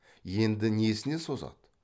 енді несіне созады